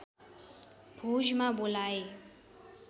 भोजमा बोलाए